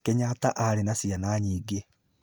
Kenyatta aarĩ na ciana nyingĩ.